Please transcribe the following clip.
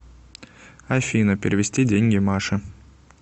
афина перевести деньги маше